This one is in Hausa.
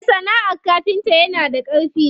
Me sana'ar kafinta yana da ƙarfi.